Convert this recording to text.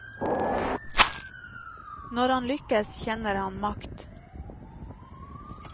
Når han lykkes, kjenner han makt.